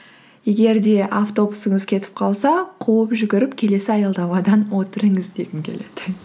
егер де автобусыңыз кетіп қалса қуып жүгіріп келесі аялдамадан отырыңыз дегім келеді